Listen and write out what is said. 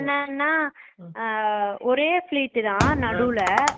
என்னன்னா அஹ ஒரே fleat தான் நடுல